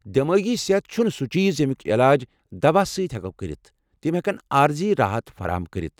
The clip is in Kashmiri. دیمٲغی صحت چھُنہٕ سُہ چیز یمیُک یلاج دواہ سۭتۍ ہیٚکو کٔرتھ، تم ہیٛکن عارضی راحت فراہم کٔرتھ۔